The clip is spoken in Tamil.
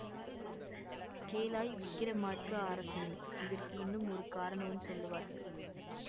கேளாய் விக்கிரமார்க்க அரசனே இதற்கு இன்னும் ஒரு காரணமும் சொல்லுவார்கள்